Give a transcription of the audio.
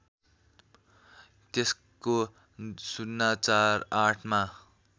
त्यसको ०४८मा